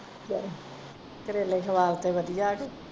ਚਲੋ ਕਰੇਲੇ ਖਵਾ ਤੇ ਵਧੀਆ ਕੇ।